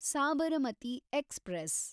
Sabarmati express